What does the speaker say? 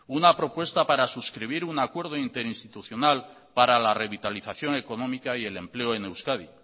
una propuesta para suscribir un acuerdo interinstitucional para la revitalización económica y el empleo en euskadi